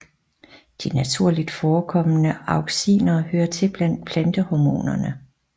De naturligt forekommende auxiner hører til blandt plantehormonerne